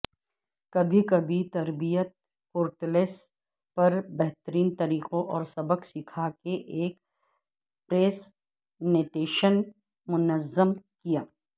کبھی کبھی تربیت پورٹلز پر بہترین طریقوں اور سبق سیکھا کے ایک پریزنٹیشن منظم کیا